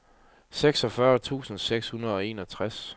seksogfyrre tusind seks hundrede og enogtres